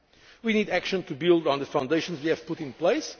for the young. We need action to build on the foundations